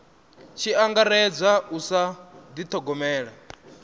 tshi angaredzwa u sa dithogomela